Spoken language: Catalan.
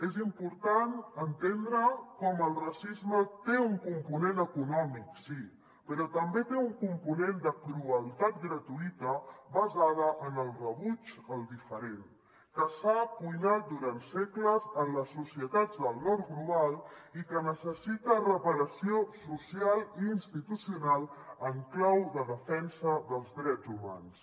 és important entendre com el racisme té un component econòmic sí però també té un component de crueltat gratuïta basada en el rebuig al diferent que s’ha cuinat durant segles en les societats del nord global i que necessita reparació social i institucional en clau de defensa dels drets humans